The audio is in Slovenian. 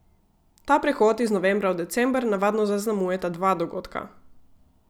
Ta prehod iz novembra v december navadno zaznamujeta dva dogodka.